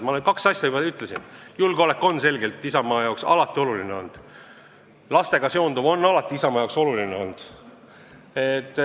Ma kaks asja juba ütlesin: julgeolek on Isamaa jaoks alati oluline olnud ja lastega seonduv on alati Isamaa jaoks oluline olnud.